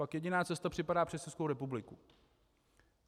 Pak jediná cesta připadá přes Českou republiku.